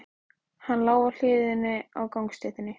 Hann lá á hliðinni á gangstéttinni.